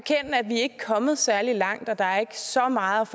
kommet særlig langt og at der ikke er så meget